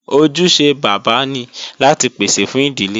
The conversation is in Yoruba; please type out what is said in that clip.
Ojúṣe bàbá ni láti pèsè fún ìdílé